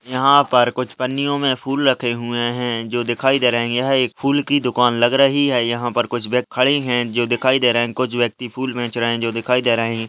यहां पर कुछ पंनियों में फूल रखे हुए हैं जो दिखाई दे रहें हैं यह एक फूल की दुकान लग रही है यहां पर कुछ व्यक्ति खड़े हैं जो दिखाई दे रहें हैं कुछ व्यक्ति फुल बेच रहें हैं जो दिखाई दे रहें हैं।